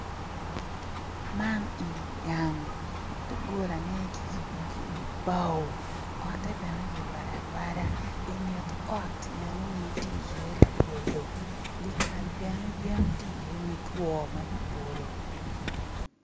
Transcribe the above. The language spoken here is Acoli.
Man eni gang doggolane ki yubo ki bao ot-te bene ki rwado arwada i nget otti eno-ni tye iye labolo dikal bene yen ti iye mutwo ma kibolo